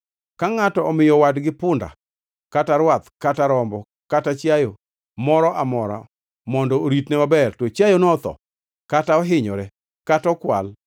“Ka ngʼato omiyo wadgi punda kata rwath kata rombo kata chiayo moro amora mondo oritne maber to chiayono otho kata ohinyore kata okwal,